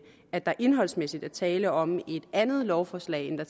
at der indholdsmæssigt er tale om et andet lovforslag end det